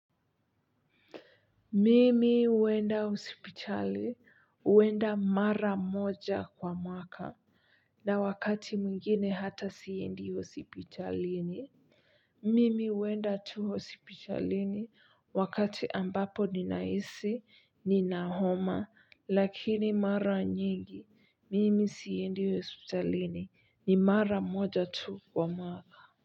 Mimi huenda hospitali huenda mara moja kwa mwaka na wakati mwingine hata siendi hospitalini mimi huenda tu hospitalini wakati ambapo ninahisi nina homa lakini mara nyingi mimi siendi hospitalini ni mara moja tu kwa mwaka.